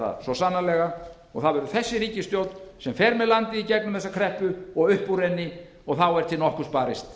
það mun sannarlega takast þessi ríkisstjórn mun fara með landið í gegnum þessa kreppu og upp úr henni og þá er til nokkurs barist